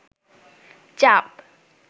চাপ